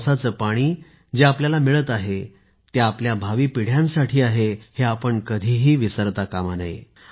पावसाचे पाणी जे आपल्याला मिळत आहे ते आपल्या भावी पिढ्यांसाठी आहे हे आपण कधीही विसरू नये